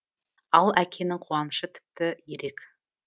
ал әкенің қуанышы тіпті ерек